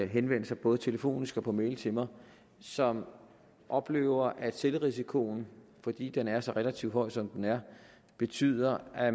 henvendt sig både telefonisk og på mail til mig og som oplever at selvrisikoen fordi den er så relativt høj som den er betyder at